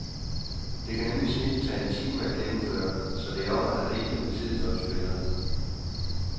Det kan nemlig snildt tage en time at gennemføre, så det er om at have rigelig med tid, når du spiller.